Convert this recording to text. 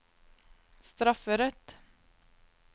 strafferett